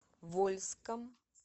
вольском